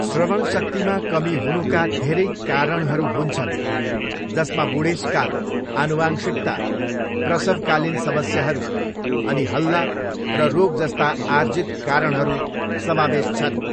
श्रवणशक्तिमा कमी हुनुका धेरै कारणहरू हुन्छन्, जसमा बुढेसकाल, आनुवंशिकता, प्रसवकालीन समस्याहरू अनि हल्ला र रोग जस्ता आर्जित कारणहरू समावेश छन्।